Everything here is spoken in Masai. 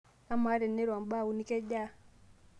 amaa teniro mbaa uni kejaa